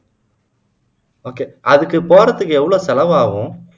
okay அதுக்கு போறதுக்கு எவ்வளவு செலவாகும்